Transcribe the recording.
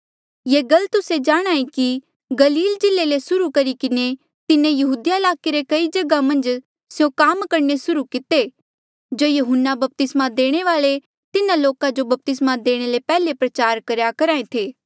ये गल तुस्से जाणहां ऐें कि गलील जिल्ले ले सुर्हू करी किन्हें तिन्हें यहूदिया ईलाके रे कई जगहा मन्झ स्यों काम करणे सुर्हू किते जो यहून्ना बपतिस्मा देणे वाल्ऐ तिन्हा लोका जो बपतिस्मा देणे ले पैहले प्रचार करेया करहा था